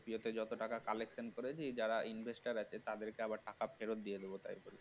এতে যত টাকা collection করেছি যারা investor আছে তাদেরকে আবার টাকা ফেরত দিয়ে দিব